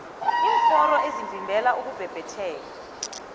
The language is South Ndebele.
iimforo ezivimbela ukubhebhetheka